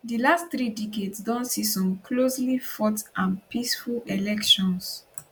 di last three decades don see some closely fought and peaceful elections